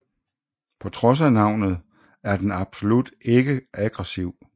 På trods af navnet er den absolut ikke aggresiv